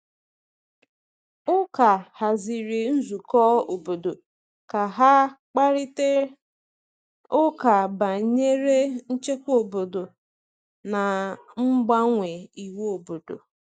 Ụka haziri nzukọ obodo ka ha kparịta ụka banyere nchekwa obodo na mgbanwe iwu obodo.